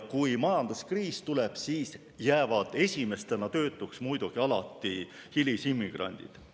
Kui majanduskriis tuleb, jäävad esimestena töötuks muidugi alati hilisimmigrandid.